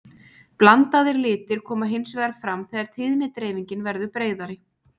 Blandaðir litir koma hins vegar fram þegar tíðnidreifingin verður breiðari.